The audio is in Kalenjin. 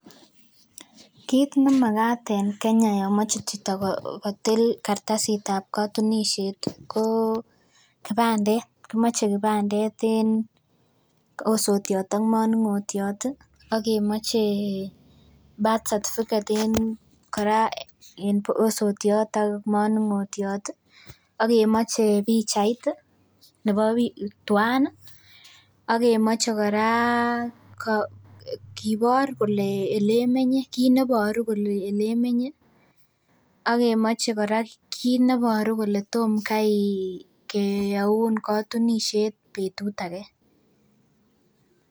Kiit nemagaat en Kenya yomoche chito kotil kartasitab kotunisiet, koo kimoche kibandet en osotiat ak manung'otiat ih akemoche birth certificate kora en osotiat ak manung'otiat akemoche pichait ih nebo bik tuaan ih akemoche kora kibor kele olemenye kine boru kole akemoche kora kole kineboru kole tomkai ih keyauun kotunisiet betut age.